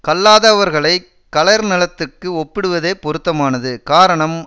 கல்லாதவர்களைக் களர்நிலத்துக்கு ஒப்பிடுவதே பொருத்தமானது காரணம்